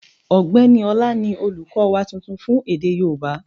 Ọ̀gbẹ́ni Ọlá ni olùkọ́ wa tuntun fún èdè yóòbá